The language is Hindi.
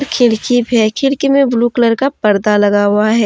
खिड़की है खिड़की में ब्लू कलर का पर्दा लगा हुआ है।